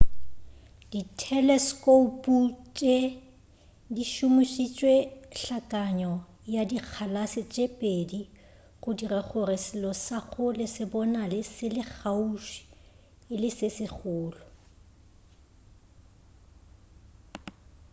ditheleskoupu tše di šomošitše hlakanyo ya dikgalase tše pedi go dira gore selo sa kgole se bonale se le kgauswi e le se segolo